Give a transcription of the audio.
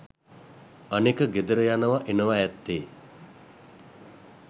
අනෙක ගෙදර යනව එනව ඇත්තේ